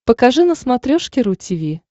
покажи на смотрешке ру ти ви